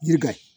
Yiri ka